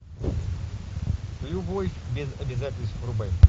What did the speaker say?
любовь без обязательств врубай